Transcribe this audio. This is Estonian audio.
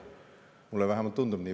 Mulle vähemalt tundub nii.